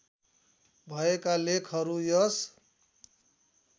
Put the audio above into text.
भएका लेखहरू यस